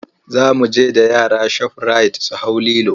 Za mu je da yara shofirayit su hau lilo.